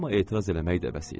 Amma etiraz eləmək də vəz idi.